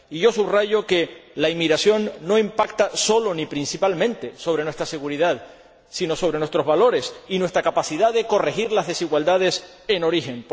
Y subrayo que la inmigración no impacta sólo, ni principalmente, sobre nuestra seguridad, sino sobre nuestros valores y nuestra capacidad de corregir las desigualdades en origen.